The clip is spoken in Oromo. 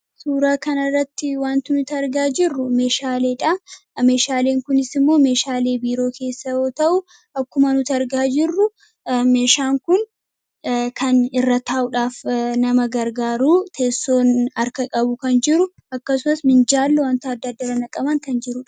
Suuraa kanarratti wanti nuti argaa jirru meeshaalee dha. Meeshaaleen kunis immoo meeshaalee biiroo keessaa yoo ta'u, akkuma nuti argaa jirru meeshaan kun kan irra taa'uudhaaf nama gargaaru, teessoon harka qabu kan jiru akkasumas minjaalli wanti adda addaa irra naqaman kan jiru dha.